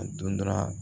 A don dɔra